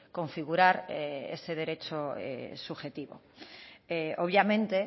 configurar ese derecho subjetivo obviamente